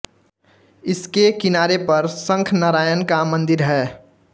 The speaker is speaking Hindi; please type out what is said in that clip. इसके किनारे पर शंख नारायण का मन्दिर है